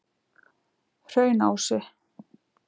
Hraunási